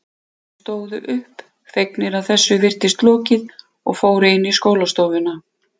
Þeir stóðu upp, fegnir að þessu virtist lokið og fóru inn í skólastofuna.